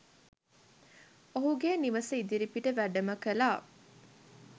ඔහුගේ නිවස ඉදිරිපිට වැඩම කළා.